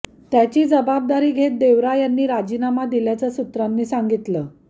त्याची जबाबदारी घेत देवरा यांनी राजीनामा दिल्याचं सूत्रांनी सांगितलं